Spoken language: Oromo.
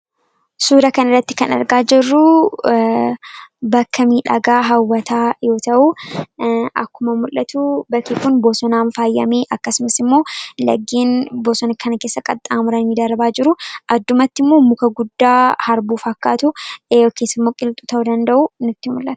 Suuraa Kana irratti kan argaa jirru biqiltuu qilxuu dha. Biqiltuun kun faayidaa madaalamuu hin dandeenye fi bakka bu’iinsa hin qabne qaba. Jireenya guyyaa guyyaa keessatti ta’ee, karoora yeroo dheeraa milkeessuu keessatti gahee olaanaa taphata. Faayidaan isaa kallattii tokko qofaan osoo hin taane, karaalee garaa garaatiin ibsamuu danda'a.